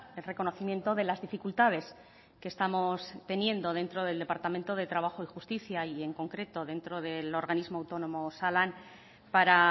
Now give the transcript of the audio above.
el reconocimiento de las dificultades que estamos teniendo dentro del departamento de trabajo y justicia y en concreto dentro del organismo autónomo osalan para